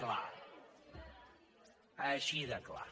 clar així de clar